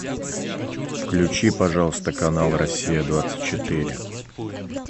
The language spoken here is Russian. включи пожалуйста канал россия двадцать четыре